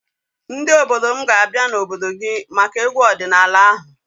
Ndị obodo m ga-abịa n'obodo gị maka egwu ọdịnaala ahụ.